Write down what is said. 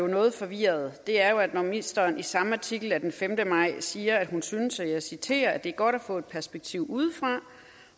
noget forvirret er når ministeren i samme artikel den femte maj siger at hun synes og jeg citerer det er godt at få et perspektiv udefra